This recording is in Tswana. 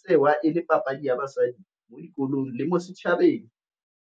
tsewa e le papadi ya basadi mo dikolong le mo setšhabeng.